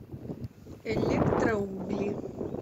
электроугли